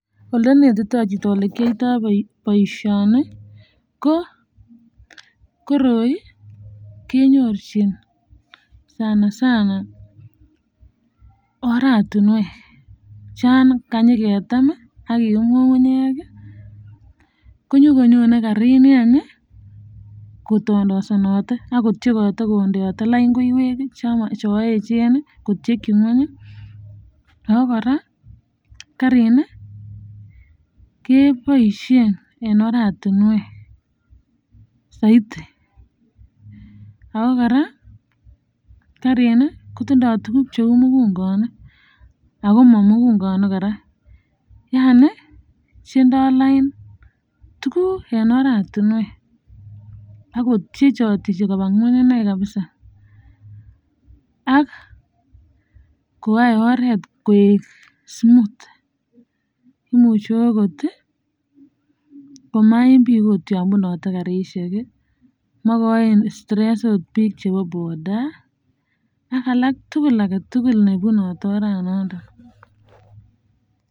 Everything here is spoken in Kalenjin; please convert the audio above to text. Ole netito chito ole kiyoito boisioni ko koroi kenyorchin sana sana aratunwek chon kanyiketem ak kiyum kungunyek konyi konyone karini kotondosenate ak kotyekote ak kondeote lain koiwek chon echen kotyekin kweny ii ago koraa karini keboishen en oratinwek saiti ago koraa karini kotindo tuguk cheu mugukonik ago momugukonik koraa Yani chendo lain tuguk en oratinwek ak kotekotechi koba kweny inei kabisaa ak koyae oret koek smooth imuche okot komaim biik ,yon bunote karishiek makachin stress biik ab boda ak alak chebunote oran noton.